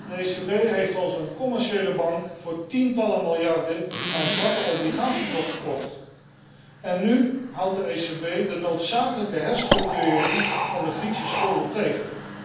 De ECB heeft als een commerciële bank voor tientallen miljarden aan zwakke obligaties opgekocht en nu houdt de ECB de noodzakelijke herstructurering van de Griekse schulden tegen.